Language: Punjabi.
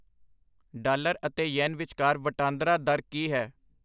ਡਾਲਰ ਅਤੇ ਯੇਨ ਵਿਚਕਾਰ ਵਟਾਂਦਰਾ ਦਰ ਕੀ ਹੈ